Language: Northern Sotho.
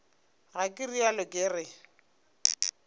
ga ke realo ke re